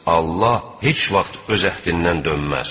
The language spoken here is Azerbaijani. Allah heç vaxt öz əhdindən dönməz.